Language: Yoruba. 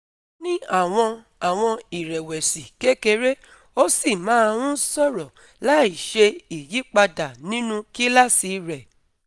ó ní àwọn àwọn ìrẹ̀wẹ̀sì kékeré, ó sì máa ń sọ̀rọ̀ láìṣe ìyípadà nínú kíláàsì rẹ̀